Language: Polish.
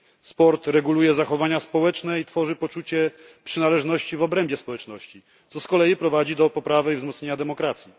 Sport reguluje zachowania społeczne i tworzy poczucie przynależności w obrębie społeczności, co z kolei prowadzi do wzmocnienia demokracji.